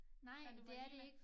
Da du var lille